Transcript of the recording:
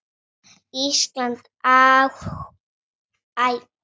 Ísland hafði annan hátt á.